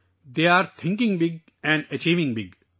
وہ بڑا سوچ رہے ہیں اور بڑا حاصل کر رہے ہیں